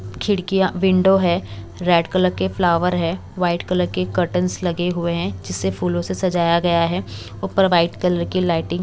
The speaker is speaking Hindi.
खिड़कियां विंडो है रेड कलर के फ्लावर है वाइट कलर के काटन्स लगे हुए हैं जिससे फूलों से सजाया गया है ऊपर व्हाइट कलर की लाइटिंग --